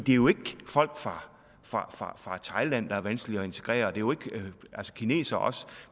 jo ikke folk fra thailand der er vanskelige at integrere og kinesere